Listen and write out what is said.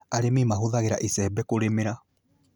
Arĩmi mahũthagĩra icembe kũrĩmĩra